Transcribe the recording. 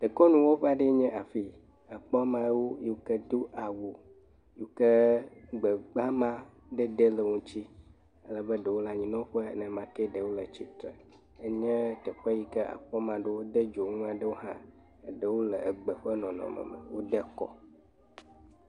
Dekɔnuwɔƒe aɖe enye afi, àkpɔ amewo yi ke do awu yi ke gbegbama ɖe ɖe le wo ŋuti ale be ɖewo le anyinɔƒe, ɖewo le atsitre. Enye teƒe yi ke àkpa ame aɖewo wode dzonu aɖewo hã, eɖewo le gbe ƒe nɔnɔme me wode kɔ.